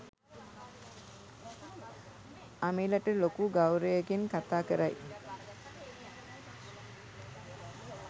අමිලට ලොකු ගෞවරයකින් කතා කරයි.